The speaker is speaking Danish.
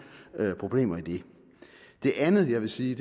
problemer i det det andet jeg vil sige